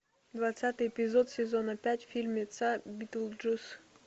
двадцатый эпизод сезона пять фильмеца битлджус